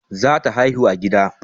Za ta haihu a gida